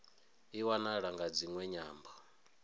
i wanala nga dziṅwe nyambo